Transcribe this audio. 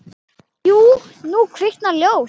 Jú, nú kviknar ljós.